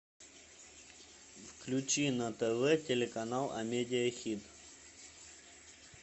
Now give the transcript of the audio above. включи на тв телеканал амедиа хит